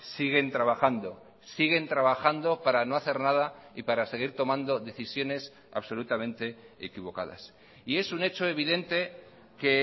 siguen trabajando siguen trabajando para no hacer nada y para seguir tomando decisiones absolutamente equivocadas y es un hecho evidente que